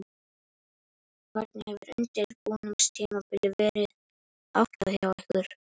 Hvernig hefur undirbúningstímabilinu verið háttað hjá ykkur?